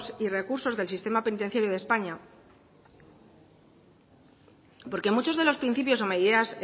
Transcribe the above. y recursos del sistema penitenciario de españa porque muchos de los principios o medidas